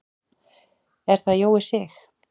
Er það Jói Sig?